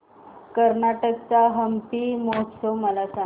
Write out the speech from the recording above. कर्नाटक चा हम्पी महोत्सव मला सांग